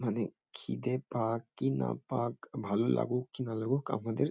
মানে খিদে পাক কি না পাক ভালো লাগুক কি না লাগুক আমাদের--